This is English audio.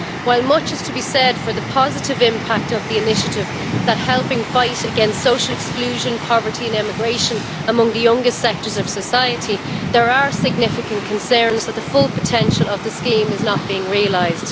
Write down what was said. While much is to be said for the positive impact of the initiative helping to fight against social exclusion, poverty and emigration among the youngest sectors of society there are significant concerns that the full potential of the scheme is not being realised.